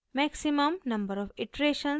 maximum number of iteration और